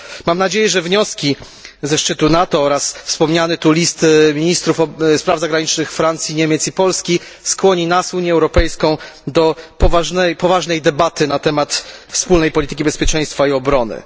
Mam nadzieję, że wnioski ze szczytu NATO oraz wspomniany tu list ministrów spraw zagranicznych Francji, Niemiec i Polski skłoni nas Unię Europejską do poważnej debaty na temat wspólnej polityki bezpieczeństwa i obrony.